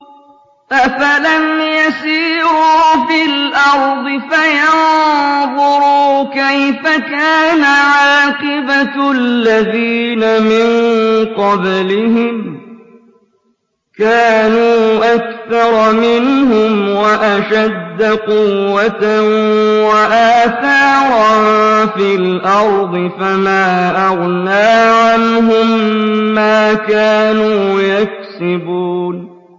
أَفَلَمْ يَسِيرُوا فِي الْأَرْضِ فَيَنظُرُوا كَيْفَ كَانَ عَاقِبَةُ الَّذِينَ مِن قَبْلِهِمْ ۚ كَانُوا أَكْثَرَ مِنْهُمْ وَأَشَدَّ قُوَّةً وَآثَارًا فِي الْأَرْضِ فَمَا أَغْنَىٰ عَنْهُم مَّا كَانُوا يَكْسِبُونَ